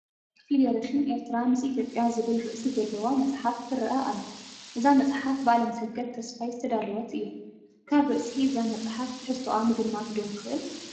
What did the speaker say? ፈደረሽን ኤርትራ ምስ ኢትዮጵያ ዝብል ርእሲ ዘለዋ መፅሓፍ ትርአ ኣላ፡፡ እዛ መፅሓፍ ብኣለምሰገድ ተስፋይ ዝተዳለወት እያ፡፡ ካብ ርእሲ እዛ መፅሓፍ ትሕዝቶአ ምግማት ዶ ንኽእል?